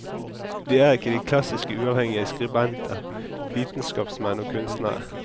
De er ikke de klassiske uavhengige skribenter, vitenskapsmenn og kunstnere.